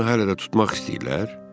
Məgər onu hələ də tutmaq istəyirlər?